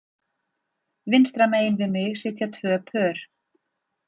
Vinstra megin við mig sitja tvö pör